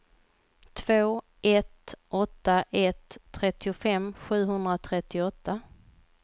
två ett åtta ett trettiofem sjuhundratrettioåtta